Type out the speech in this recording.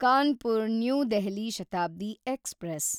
Kanpur new Delhi Shatabdi express